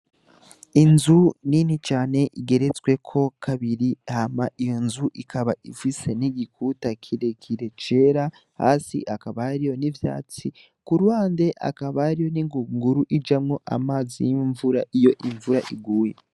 Inzu nini cane igeretsweko kabiri hama iyo nzu ikaba ifise n'igikuta kirerekire cera hasi hakaba hariyo n'ivyatsi ku ruhande hariyo n'ingunguru ijamwo amazi y'imvura iyo imvura iguye.